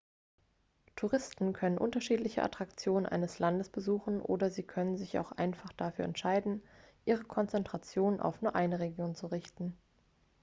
touristen können unterschiedliche attraktionen eines landes besuchen oder sie können sich auch einfach dafür entscheiden ihre konzentration auf nur eine region zu richten